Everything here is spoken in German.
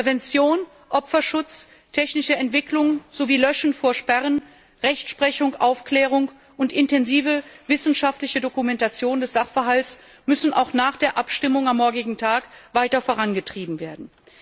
Prävention, Opferschutz, technische Entwicklung sowie der Grundsatz Löschen vor Sperren, Rechtsprechung, Aufklärung und intensive wissenschaftliche Dokumentation des Sachverhalts müssen auch nach der Abstimmung am morgigen Tag weiter vorangetrieben werden.